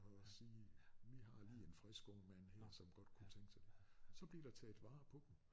Og sige vi har lige en frisk ung mand her som godt kunne tænke sig det så blev der taget vare på dem